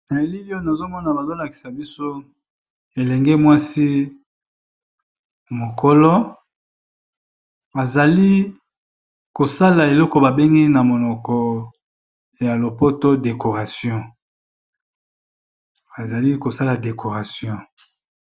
Na elili oyo, nazomona bazo lakisa biso elenge mwasi mokolo azali ko sala eloko ba bengi na monoko ya lopoto decoration, azali ko sala decoration .